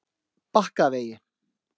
Bakkavegi